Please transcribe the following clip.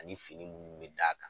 Ani fini minnu bɛ d'a kan.